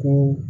Ko